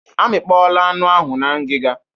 Amikpọọla anụ ahụ na ngiga.